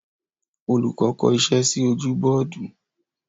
Olùkọ́ kọ iṣẹ́ sí ojú bọ́ọ́dù.